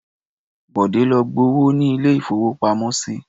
Bọ̀dé lọ gbowó ní ilé-ìfowópamọ́sí.